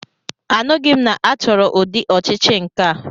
Anụghị m na achọrọ ụdị ọchịchị nkea.